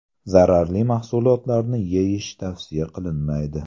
Zararli mahsulotlarni yeyish tavsiya qilinmaydi.